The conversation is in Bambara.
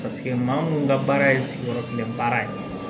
maa munnu ka baara ye sigiyɔrɔ kelen baara ye